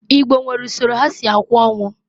Igbo nwere usoro ha si akwa onwu.